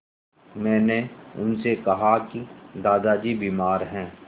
मैंने उनसे कहा कि दादाजी बीमार हैं